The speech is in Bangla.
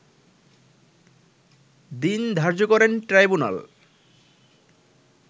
দিন ধার্য করেন ট্রাইবুনাল